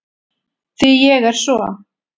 Því ég er svo